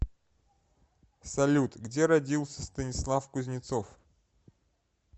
салют где родился станислав кузнецов